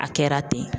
A kɛra ten